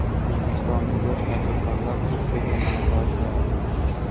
O‘zbekistonlik yosh tadbirkorlar Turkiyada malaka oshiradi.